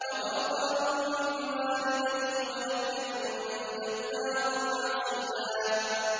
وَبَرًّا بِوَالِدَيْهِ وَلَمْ يَكُن جَبَّارًا عَصِيًّا